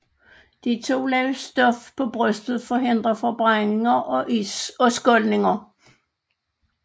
De to lag stof på brystet forhindrer forbrændinger og skoldninger